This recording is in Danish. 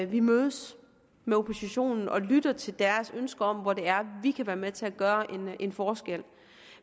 vi mødes med oppositionen og lytter til deres ønsker om hvor det er vi kan være med til at gøre en forskel